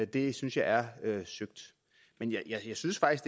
det synes jeg er søgt men jeg synes faktisk